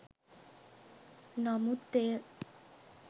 නමුත් එය